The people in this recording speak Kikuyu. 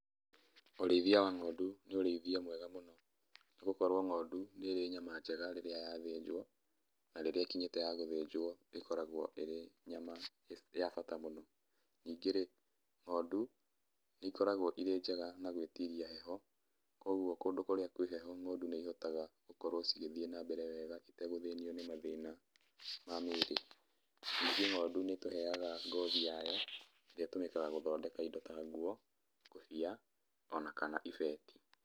Ũrĩithia wa ng'ondu nĩ ũrĩithia mwega mũno nĩgũkorwo ng'ondu nĩrĩ nyama njega rĩrĩa yathĩnjwo, na rĩrĩa ĩkinyĩte ya gũthĩnjwo nĩkoragwo ĩrĩ nyama ya bata mũno. Ningĩ-rĩ, ng'ondu nĩikoragwo ĩrĩ njega na gwĩtiria heho, kwoguo kũndũ kũria kwĩ heho ng'ondu nĩ ihotaga gũkorwo cigĩthiĩ nambere wega itegũthĩnio nĩ mathĩna ma mĩĩrĩ. Ningĩ ng'ondu nĩtũheaga ngothi yayo, ĩrĩa ĩtũmĩkaga gũthondeka nguo, ngobia ona kana ibeti.